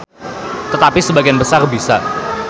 Tetapi sebagian besar bisa.